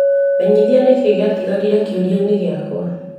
Menyithia nĩkĩĩ gĩatigarĩre kĩũrianĩ gĩakwa .